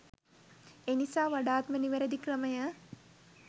එනිසා වඩාත් ම නිවැරදි ක්‍රමය